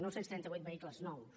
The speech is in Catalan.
nou cents trenta vuit vehicles nous